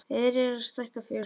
Verið er að stækka fjósið.